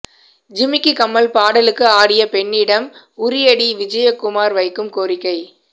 ஜிமிக்கி கம்மல் பாடலுக்கு ஆடிய பெண்ணிடம் உறியடி விஜயகுமார் வைக்கும் கோரிக்கை